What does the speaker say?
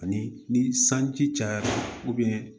Ani ni sanji cayara